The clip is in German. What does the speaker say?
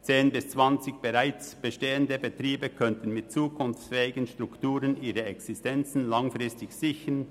Zehn bis zwanzig bereits bestehende Betriebe könnten mit zukunftsfähigen Strukturen ihre Existenzen langfristig sichern.